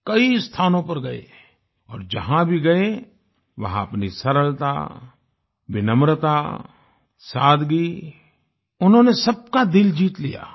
कई स्थानों पर गये और जहां भी गये वहां अपनी सरलता विनम्रता सादगी उन्होंने सबका दिल जीत लिया